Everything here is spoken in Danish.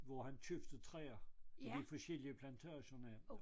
Hvor han købte træer af de forskellige af de forskellige af plantagerne